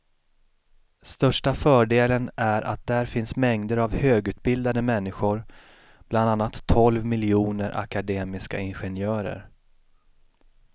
Största fördelen är att där finns mängder av högutbildade människor, bland annat tolv miljoner akademiska ingenjörer.